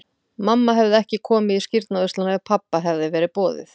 Mamma hefði ekki komið í skírnarveisluna ef pabba hefði verið boðið.